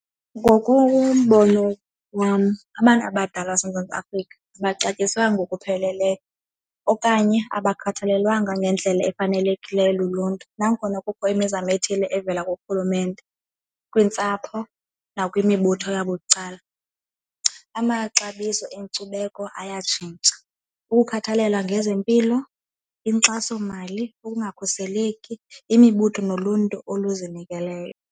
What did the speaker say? Ngokombono wam abantu abadala baseMzantsi Afrika abaxatyiswanga ngokupheleleyo okanye abakhathalelwanga ngendlela efanelekileyo luluntu. Nangona kukho imizamo ethile evela kurhulumente kwiintsapho nakwimibutho yabucala. Amaxabiso enkcubeko ayatshintsha, ukukhathalelwa ngezempilo inkxasomali, ukungakhuseleki, imibutho noluntu oluzinikeleyo.